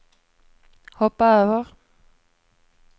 hoppa över